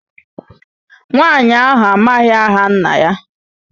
Nwaanyị ahụ amaghị aha nna ya.